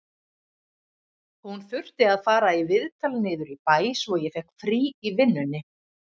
Hún þurfti að fara í viðtal niður í bæ, svo ég fékk frí í vinnunni